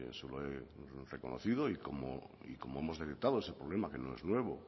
se lo he reconocido y como hemos decretado ese problema que no es nuevo